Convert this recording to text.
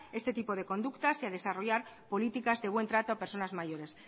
este tipo de conductas y a desarrollar políticas de buen trato a personas mayores